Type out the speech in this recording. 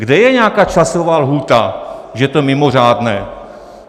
Kde je nějaká časová lhůta, že je to mimořádné?